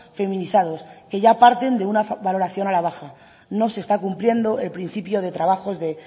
feminizados que ya parten de una valoración a la baja no se está cumpliendo el principio de trabajos de